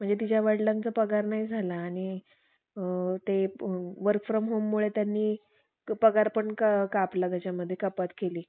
sir आपला तिसरा topic आहे, प्रिय शिक्षक. प्रत्येक मुलाच्या आयुष्यात त्यांचे आई-वडील हे त्यांचे पहिले गुरु असतात. ते आपल्याला